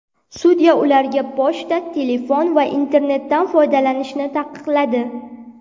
Sudya ularga pochta, telefon va internetdan foydalanishni taqiqladi.